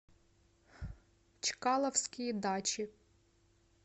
чкаловские дачи